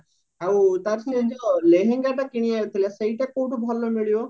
ଆଉ ତାର ସେଇ ଯୋଉ ଲେହେଙ୍ଗା ତ କିଣିବାର ଥିଲା ସେଇଟା କଉଠୁ ଭଲ ମିଳିବ